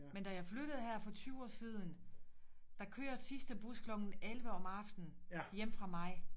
Men da jeg flyttede her for 20 år siden der kørte sidste bus klokken 11 om aftenen hjemme fra mig